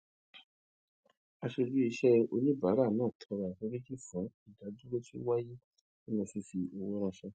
aṣojú iṣẹ oníbàárà náà tọrọ àforíjì fún ìdádúró tí ó wáyé nínú fífi fífi owó ránṣẹ